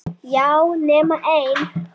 Já, nema ein!